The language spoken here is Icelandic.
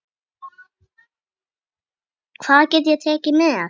Hvað get ég tekið með?